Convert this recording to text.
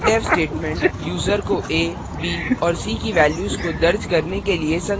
printf statement user को a b और c की values को दर्ज करने के लिए संकेत करता है